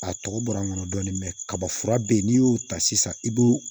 A tɔgɔ bɔra n kɔnɔ dɔɔnin kaba fura be yen n'i y'o ta sisan i b'o